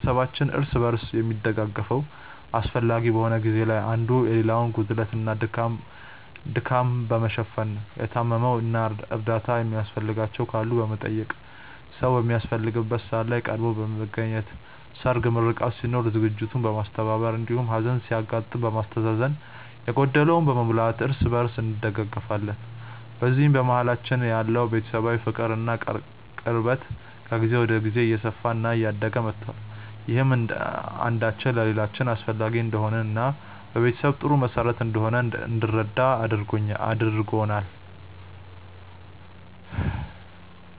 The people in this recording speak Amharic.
ቤተሰባችን እርስ በርስ የሚደጋገፈው አስፈላጊ በሆነ ጊዜ ላይ አንዱ የሌላውን ጉድለት እና ድካም በመሸፈን ነው። የታመሙ እና እርዳታ የሚያስፈልጋቸው ካሉ በመጠየቅ፣ ሰዉ በሚያስፈልግበት ሰዓት ላይ ቀድሞ በመገኘት ሰርግ፣ ምርቃት ሲኖር ዝግጅቱን በማስተባበር እንዲሁም ሀዘን ሲያጋጥም በማስተዛዘን እና የጎደለውን በመሙላት እርስ በእርስ እንደጋገፋለን። በዚህም በመሀላችን ያለው ቤተሰባዊ ፍቅር እና ቅርበት ከጊዜ ወደ ጊዜ እየሰፋ እና እያደገ መቷል። ይህም አንዳችን ለሌላችን አስፈላጊ እንደሆንን እና ቤተሰብ ጥሩ መሰረት እንደሆነ እንድንረዳ አድርጎናል።